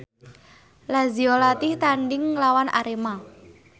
Lazio latih tandhing nglawan Arema